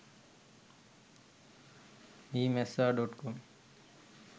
meemessa.com